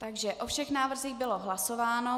Takže o všech návrzích bylo hlasováno.